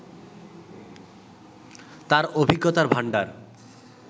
তার অভিজ্ঞতার ভাণ্ডার